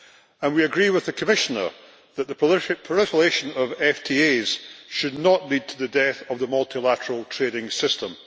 And we agree with the Commissioner that the proliferation of FTAs should not lead to the death of the multilateral trading system.